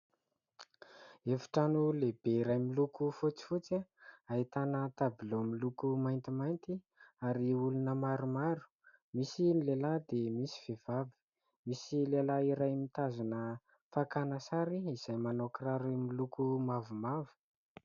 Efitrano lehibe iray miloko fotsifotsy, ahitana tabilao miloko maintimainty ary olona maromaro misy lehilahy dia misy vehivavy, misy lehilahy iray mitazona fakana sary izay manao kiraro miloko mavomavo.